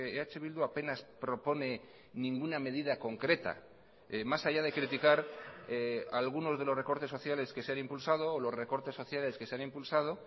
eh bildu apenas propone ninguna medida concreta más allá de criticar algunos de los recortes sociales que se han impulsado o los recortes sociales que se han impulsado